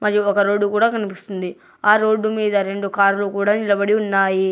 ఇది ఒక రోడ్డు కూడా కనిపిస్తుంది ఆ రోడ్డు మీద రెండు కార్లు కూడా నిలబడి ఉన్నాయి.